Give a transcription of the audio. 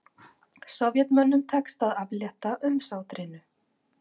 Sovétmönnum tekst að aflétta umsátrinu